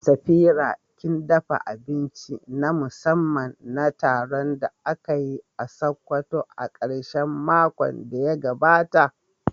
Safira kin dafa abinci na musamman na taron da aka yi a Sokoto a karshen makon da ya gabata?